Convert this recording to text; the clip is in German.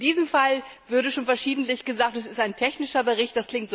In diesem Fall wurde schon verschiedentlich gesagt, es sei ein technischer Bericht.